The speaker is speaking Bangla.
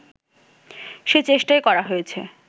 সে চেষ্টাই করা হয়েছে